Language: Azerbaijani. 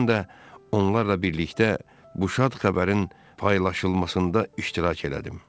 Mən də onlarla birlikdə bu şad xəbərin paylaşılmasında iştirak elədim.